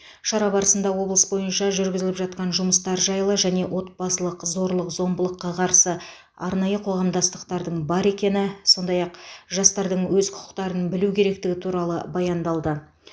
шара барысында облыс бойынша жүргізіліп жатқан жұмыстар жайлы және отбасылық зорлық зомбылыққа қарсы арнайы қоғамдастықтардың бар екені сондай ақ жастардың өз құқықтарын білу керектігі туралы баяндалды